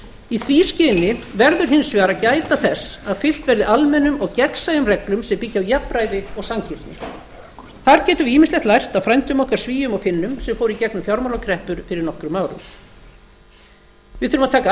í því skyni verður hins vegar að gæta þess að fylgt verði almennum og gegnsæjum reglum sem byggi á jafnræði og sanngirni þar getum við ýmislegt lært af frændum okkar svíum og finnum sem fóru í gegnum fjármálakreppur fyrir nokkrum árum við þurfum að taka